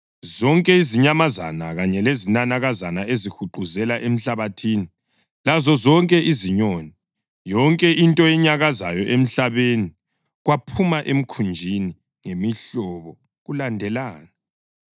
Zonke izinyamazana kanye lezinanakazana ezihuquzela emhlabathini lazozonke izinyoni, yonke into enyakazayo emhlabeni, kwaphuma emkhunjini, ngemihlobo kulandelana.